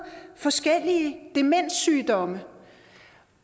forskellige demenssygdomme